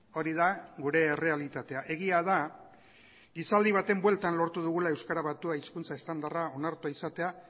hori da gure errealitatea egia da gizaldi baten bueltan lortu dugula euskara batua hizkuntza estandarra onartua izatea